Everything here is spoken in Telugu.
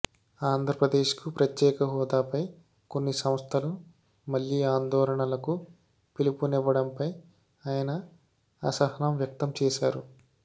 ఆంధ్రప్రదేశ్ కు ప్రత్యేకహోదాపై కొన్ని సంస్థలు మళ్లీ ఆందోళనలకు పిలుపు నివ్వడంపై ఆయన అసహనం వ్యక్తం చేశారు